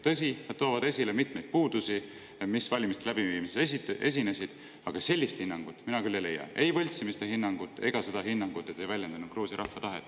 Tõsi, nad toovad esile mitmeid puudusi, mis valimiste läbiviimises esinesid, aga sellist hinnangut mina küll ei leia: ei võltsimise hinnangut ega seda hinnangut, et need ei väljendanud Gruusia rahva tahet.